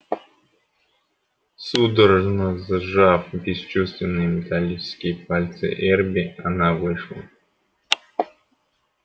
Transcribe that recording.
судорожно сжав бесчувственные металлические пальцы эрби она вышла